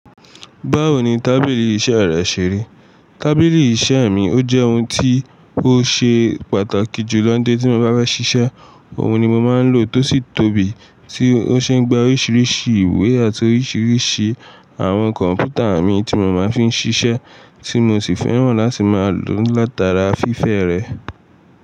Báwo ni tábìlì iṣẹ́ rẹ ṣè ri? Tábìlì iṣẹ́ mi ó jẹ́ ohun tí ó ṣe pàtàkì jù lọ nítori tí mo bá fe ṣiṣẹ́. Òun ni mo máa ń lò tósì tóbi, tí ó ṣe ń gba oríṣiríṣi ìwé àti oríṣiríṣi àwọn kọ̀m̀pútà mi tí mo máa ń fi ń ṣiṣẹ́, tí mo sì fẹ́ràn láti máa lò látara fífẹ́ rẹ̀.